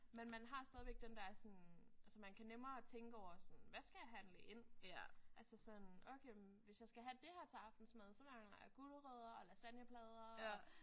Men man har stadigvæk den der den der sådan altså man kan nemmere tænke over sådan hvad skal jeg handle ind? Altså sådan okay men hvis jeg skal have det her til aftensmad så mangler jeg gulerødder og lasagneplader